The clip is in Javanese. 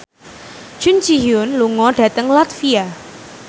Jun Ji Hyun lunga dhateng latvia